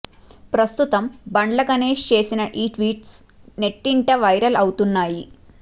ప్రస్తుతం బండ్ల గణేష్ చేసిన ఈ ట్వీట్స్ నెట్టింట వైరల్ అవుతున్నాయి